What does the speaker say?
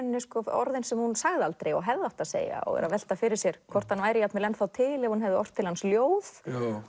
orðin sem hún sagði aldrei og hefði átt að segja og veltir fyrir sér hvort hann væri ennþá til ef hún hefði ort til hans ljóð